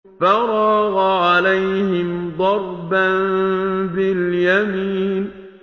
فَرَاغَ عَلَيْهِمْ ضَرْبًا بِالْيَمِينِ